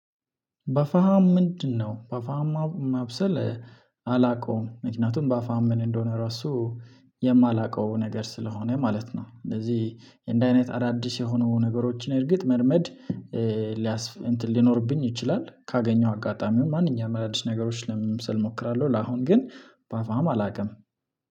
በፋሃም ምንድነው? በፋሃም ማብሰል አላቀውም ምክንያቱም በፋም ምን እንደሆነ ራሱ የማላቀው ነገር ስለሆነ ማለት ነው። እንደዚህ እንድህ አይነት አዳዲስ የሆኑ ነገሮችን እርግጥ መልመድ ሊኖርብኝ ይችላል። ካገኘው አጋጣሚው ማንኛውም አዳዲስ ነገሮች ለመብሰል እሞክራለው ለአሁን ግን ባፋም አላቅም።